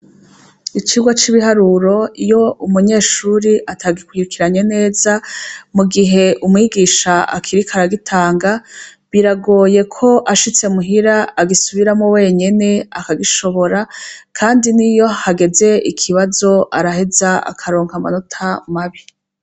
Icigwa c'ibiharuro iyo umunyeshuri atagikurikiranye neza mu gihe umwigisha akiriko aragitanga biragoye ko ashitse muhira agisubiramwo wenyene akagishobora, kandi n'iyo hageze ikibazo araheza akaronka amanota mabi.